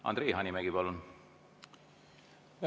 Andre Hanimägi, palun!